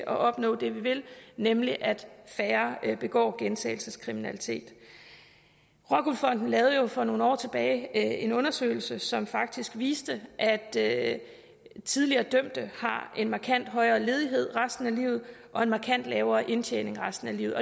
opnå det vi vil nemlig at færre begår gentagelseskriminalitet rockwool fonden lavede jo for nogle år tilbage en undersøgelse som faktisk viste at at tidligere dømte har en markant højere ledighed resten af livet og en markant lavere indtjening resten af livet